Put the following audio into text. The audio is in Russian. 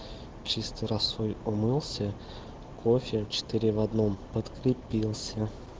чистой росой умылся кофе четыре в одном подкрепился